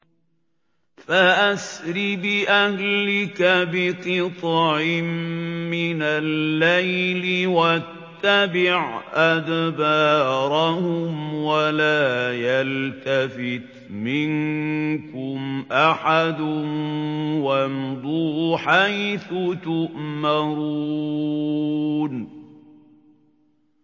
فَأَسْرِ بِأَهْلِكَ بِقِطْعٍ مِّنَ اللَّيْلِ وَاتَّبِعْ أَدْبَارَهُمْ وَلَا يَلْتَفِتْ مِنكُمْ أَحَدٌ وَامْضُوا حَيْثُ تُؤْمَرُونَ